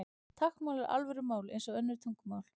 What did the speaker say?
Táknmál er alvöru mál eins og önnur tungumál.